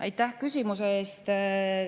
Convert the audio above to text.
Aitäh küsimuse eest!